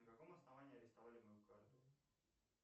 на каком основании арестовали мою карту